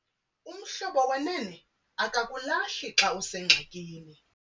Umhlobo wenene akakulahli xa usengxakini.